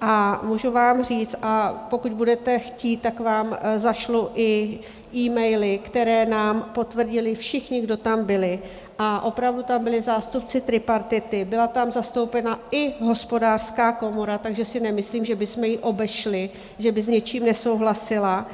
a můžu vám říct, a pokud budete chtít, tak vám zašlu i e-maily, které nám potvrdili všichni, kdo tam byli, a opravdu tam byli zástupci tripartity, byla tam zastoupena i Hospodářská komora, takže si nemyslím, že bychom ji obešli, že by s něčím nesouhlasila.